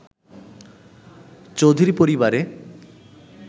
চৌধুরী পরিবারে